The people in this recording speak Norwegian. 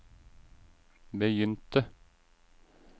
begynte